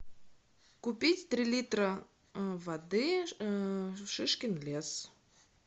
купить три литра воды шишкин лес